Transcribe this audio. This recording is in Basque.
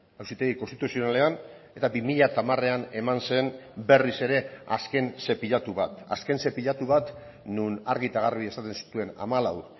auzitegi konstituzionalean eta bi mila hamarean eman zen berriz ere azken zepilatu bat azken zepilatu bat non argi eta garbi esaten zituen hamalau